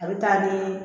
A bɛ taa ni